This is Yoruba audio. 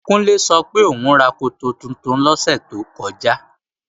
Kúnlé sọ pé òún ra koto tuntun lọ́sẹ̀ tó kọjá